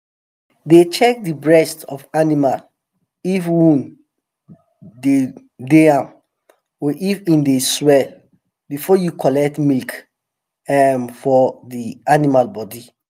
dey check de breast of animal if wound de am or if em dey swell before you collect milk um from the animal body